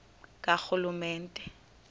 karhulumente